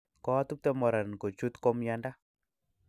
koatubte mornr kovhut kumyande